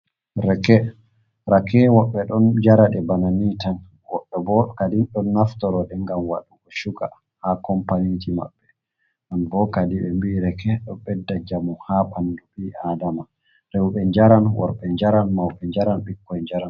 Rake, rakewo be don jarade bana ni tan, woɓɓe bo kadi, don naftoroɗe ngam waɗugo shuga ha kompaniji maɓɓe, non bo kadi be mbii reke ɗo bedda njamu ha ɓandu ɓi adama, rewɓe njaran, worɓe jaran, mauɓe njaran, ɓikkoi njaran.